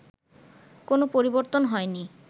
কোনো পরিবর্তন হয়নি